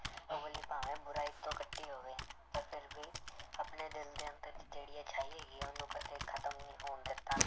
ਭਾਵੇਂ ਬੁਰਾਈ ਤੋਂ ਕੱਟੀ ਹੋਵੇ ਪਰ ਫਿਰ ਵੀ ਆਪਣੇ ਦਿਲ ਦੇ ਅੰਦਰ ਜਿਹੜੀ ਅਛਾਈ ਹੈਗੀ ਹੈ ਉਹਨੂੰ ਕਦੇ ਖ਼ਤਮ ਨੀ ਹੋਣ ਦਿੱਤਾ।